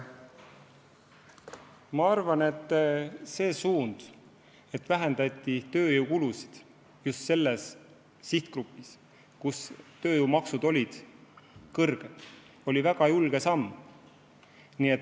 Ma arvan, et see suund, et vähendati tööjõukulusid just selles sihtgrupis, kus tööjõumaksud olid kõrged, oli väga julge samm.